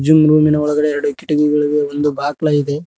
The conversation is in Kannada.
ಈ ರೂಮಿನ ಒಳಗಡೆ ಎರಡು ಕಿಟಕಿಗಳ ಇವೆ ಒಂದು ಬಾಕ್ಲ ಇದೆ.